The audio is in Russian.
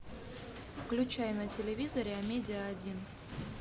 включай на телевизоре амедиа один